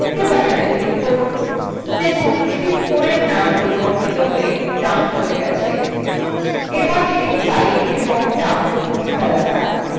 ok button click করুন দেখুন sheet 4 ট্যাবের dump পরিবর্তিত হয়ে dump হয়ে গেছে এবার sheets 5 এবং dump মুছে ফেলা যাক